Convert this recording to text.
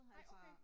Nej okay